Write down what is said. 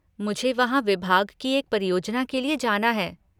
मुझे वहाँ विभाग की एक परियोजना के लिए जाना है।